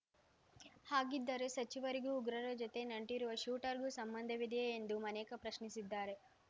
ಹಾಗಿದ್ದರೆ ಸಚಿವರಿಗೂ ಉಗ್ರರ ಜೊತೆ ನಂಟಿರುವ ಶೂಟರ್‌ಗೂ ಸಂಬಂಧವಿದೆಯೇ ಎಂದು ಮನೇಕಾ ಪ್ರಶ್ನಿಸಿದ್ದಾರೆ